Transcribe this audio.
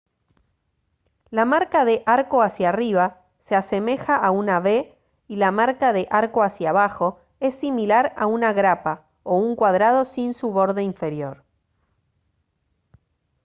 la marca de «arco hacia arriba» se asemeja a una v y la marca de «arco hacia abajo» es similar a una grapa o un cuadrado sin su borde inferior